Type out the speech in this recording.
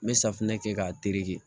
N bɛ safinɛ kɛ k'a tereke